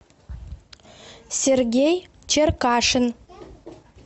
сергей черкашин